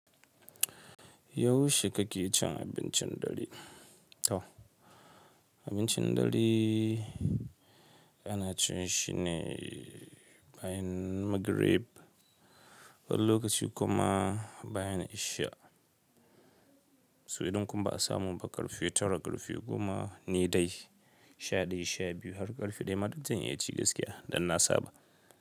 Yaushe kake cin abincin dare? To abincin dare ana cin shi ne bayan Magrib har lokacin kuma bayan Ishaa. So idan kuma ba a samu ba ƙarfe tara, ƙarfe goma ne dai sha ɗaya, sha biyu har ƙarfe daya, ma duk zan iya ci gaskiya. Danna saba.